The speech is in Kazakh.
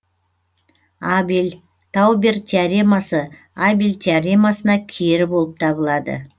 абель таубер теоремасы абель теоремасына кері болып табылады